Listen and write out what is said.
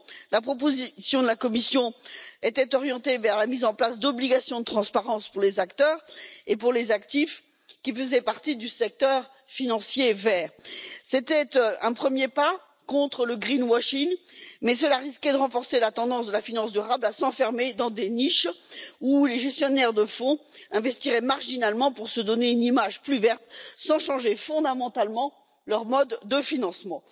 La proposition de la Commission était orientée vers la mise en place d'obligations de transparence pour les acteurs et pour les actifs qui faisaient partie du secteur financier vert c'était un premier pas contre le greenwashing mais cela risquait de renforcer la tendance de la finance durable à s'enfermer dans des niches où les gestionnaires de fonds investiraient marginalement pour se donner une image plus verte sans changer fondamentalement leur mode de financement.